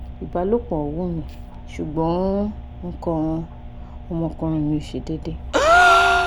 ibalopo wun mi sugbon ikan omo okunrin mi o se dede